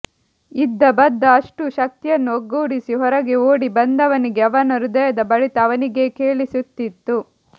ಇದ್ದಬದ್ದ ಅಷ್ಟೂ ಶಕ್ತಿಯನ್ನೂ ಒಗ್ಗೂಡಿಸಿ ಹೊರಗೆ ಓಡಿಬಂದವನಿಗೆ ಅವನ ಹೃದಯದ ಬಡಿತ ಅವನಿಗೇ ಕೇಳಿಸುತ್ತಿತ್ತು